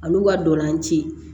Al'u ka dɔlan ci